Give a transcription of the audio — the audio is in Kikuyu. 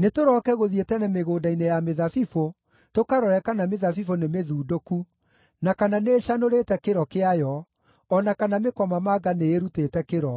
Nĩtũrooke gũthiĩ tene mĩgũnda-inĩ ya mĩthabibũ tũkarore kana mĩthabibũ nĩmĩthundũku, na kana nĩĩcanũrĩte kĩro kĩayo, o na kana mĩkomamanga nĩĩrutĩte kĩro: